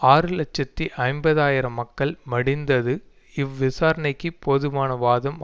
ஆறு இலட்சத்தி ஐம்பது ஆயிரம் மக்கள் மடிந்தது இவ்விசாரணைக்கு போதுமான வாதம்